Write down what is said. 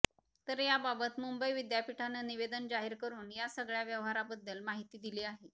तर याबाबत मुंबई विद्यापीठान निवेदन जाहीर करून या सगळ्या व्यवहाराबद्दल माहिती दिली आहे